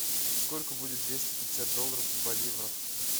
сколько будет двести пятьдесят долларов в боливарах